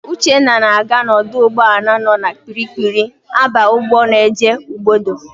Uchenna na-aga n'ọdụ ụgbọala nọ na Kpiri-kpiri aba ụgbọ na-eje Ugbodo.